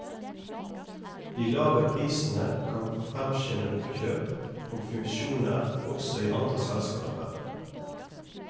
De lave prisene kan fremskynde oppkjøp og fusjoner også i andre selskaper.